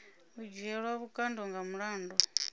u dzhielwa vhukando nga mulandu